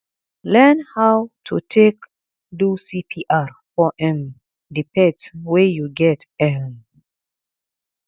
learn how to take do cpr for um di pets wey you get um